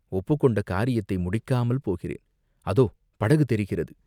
ஒப்புக்கொண்ட காரியத்தை முடிக்காமல் போகிறேன், அதோ படகு தெரிகிறது.